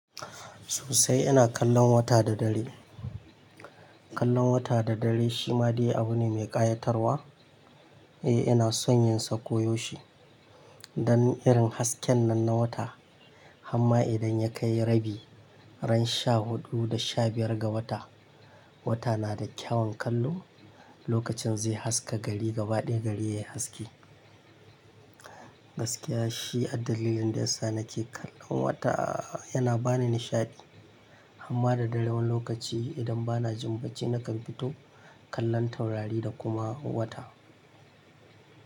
Sosai ina kallon wata da dare. Kallon wata da dare shi ma dai abu ne mai ƙayatarwa. Eh ina son yin sa koyoshe don irin hasken nan na wata. Amma idan ya kai rabi, ran sha huɗu da sha biyar ga wata, wata na da kyawun kallo. Lokacin zai haska gari gaba ɗaya gari yai haske. Gaskiya shi addalilin da yasa nake kallon wata yana bani nishaɗi. Amma da dare wani lokaci idan bana jin bacci nakan fito kallon taurari da kuma wata.